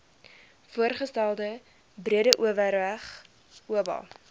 voorgestelde breedeoverberg oba